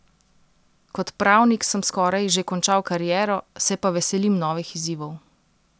Kot pravnik sem skoraj že končal kariero, se pa veselim novih izzivov.